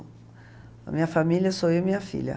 A minha família sou eu e minha filha.